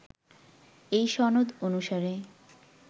এই সনদ অনুসারে